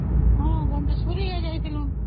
ହଁ, ଘନଟେଶ୍ଵରୀ ଯାଇଥିଲୁ